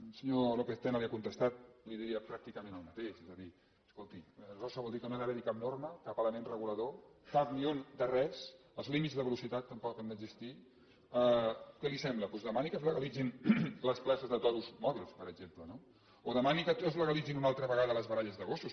el senyor lópez tena li ha contestat li diria pràcticament el mateix és a dir escolti aleshores això vol dir que no ha d’haver hi cap norma cap element regulador cap ni un de res els límits de velocitat tampoc han d’existir què li sembla doncs demani que es legalitzin les places de toros mòbils per exemple no o demani que es legalitzin una altra vegada les baralles de gossos